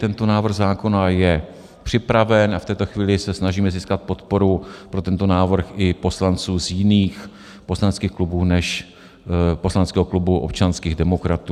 Tento návrh zákona je připraven a v této chvíli se snažíme získat podporu pro tento návrh i poslanců z jiných poslaneckých klubů než poslaneckého klubu občanských demokratů.